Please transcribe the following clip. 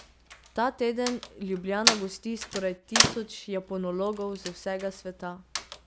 Ta teden Ljubljana gosti skoraj tisoč japonologov z vsega sveta.